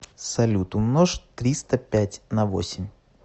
салют умножь триста пять на восемь